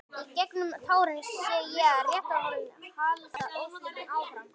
Í gegnum tárin sé ég að réttarhöldin halda óslitið áfram.